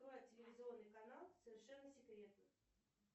телевизионный канал совершенно секретно